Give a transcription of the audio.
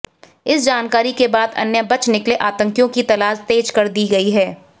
इस जानकारी के बाद अन्य बच निकले आतंकियों की तलाश तेज कर दी गई है